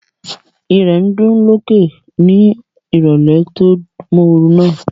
Ìrẹ̀ ń dún lókè lókè ní ìrọ̀lẹ́ tó móoru náà